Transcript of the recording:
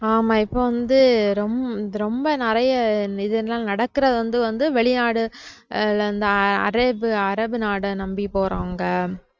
ஆமா இப்ப வந்து ரொம்~ ரொம்ப நிறைய இந்த இதெல்லாம் நடக்கறது வந்து வெளிநாடு அஹ் இந்த அரேபு~ அரபு நாட நம்பி போறவங்க